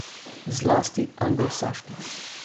Zlasti anglosaških.